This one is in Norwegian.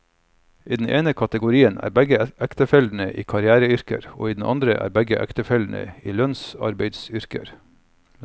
I den ene kategorien er begge ektefellene i karriereyrker, og i den andre er begge ektefellene i lønnsarbeideryrker.